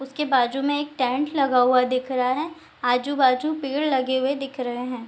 उसके बाजु में एक टेंट लगा हुआ दिख रहा है आजु-बाजु पेड़ लगे हुए दिख रहे है ।